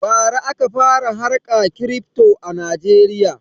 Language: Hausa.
Bara aka fara harka kirifto a najeriya